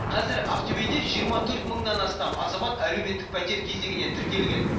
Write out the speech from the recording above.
қазір ақтөбеде жиырма төрт мыңнан астам азамат әлеуметтік пәтер кезегіне тіркелген